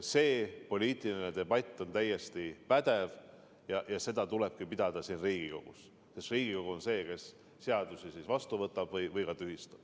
See poliitiline debatt on täiesti pädev ja seda tulebki pidada siin Riigikogus, sest Riigikogu on see, kes seadusi vastu võtab või tühistab.